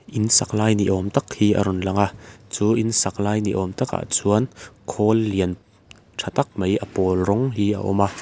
in sak lai ni awm tak hi a rawn lang a chu in sak lai ni awm takah chuan khawl lian tha tak mai a pawl rawng hi a awm a.